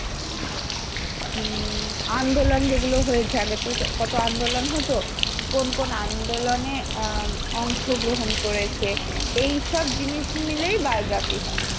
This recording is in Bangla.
"আ উম আন্দোলন যেগুলো হয়েছে আগে তো কত আন্দোলন হতো কোন কোন আন্দোলনে আ অংশগ্রহণ করেছে।